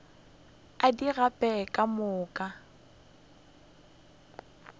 a di gape ka moka